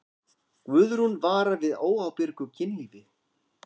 Guðrún vara við óábyrgu kynlífi.